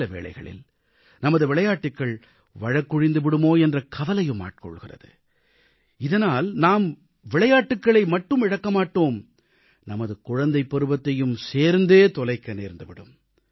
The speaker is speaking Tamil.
சில வேளைகளில் நமது விளையாட்டுகள் வழக்கொழிந்து விடுமோ என்ற கவலையும் ஆட்கொள்கிறது இதனால் நாம் விளையாட்டுகளை மட்டும் இழக்க மாட்டோம் நமது குழந்தைப் பருவத்தையும் சேர்த்தே தொலைக்க நேர்ந்து விடும்